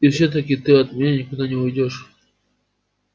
и всё-таки ты от меня никуда не уйдёшь